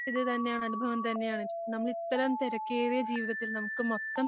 ഇതു തന്നെയാണ് അനുഭവം തന്നെയാണ് നമ്മൾ ഇത്തരം തിരക്കേറിയ ജീവിതത്തിൽ നമുക്ക് മൊത്തം